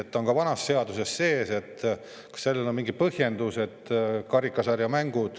Ta on ka vanas seaduses sees ja kas sellel on mingi põhjendus?